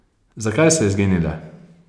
Zakaj so izginile?